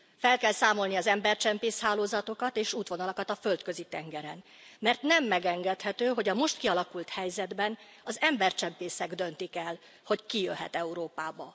Fel kell számolni az embercsempész hálózatokat és útvonalakat a Földközi tengeren, mert nem megengedhető, hogy a most kialakult helyzetben az embercsempészek döntik el, hogy ki jöhet Európába.